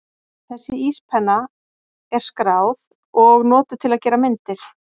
Þessi íspenna er skráð og notuð til að gera myndir.